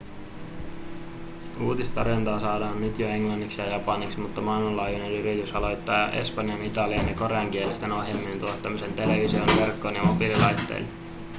uutistarjontaa saadaan jo nyt englanniksi ja japaniksi mutta maailmanlaajuinen yritys aloittaa espanjan- italian- ja koreankielisten ohjelmien tuottamisen televisioon verkkoon ja mobiililaitteille